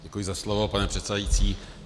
Děkuji za slovo, pane předsedající.